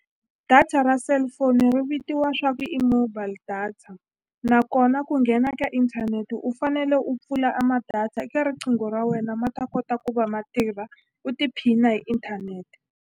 Data ra cellphone ri vitiwa swa ku i mobile data nakona ku nghena ka inthanete u fanele u pfula a ma-data eka riqingho ra wena ma ta kota ku va ma tirha u tiphina hi inthanete.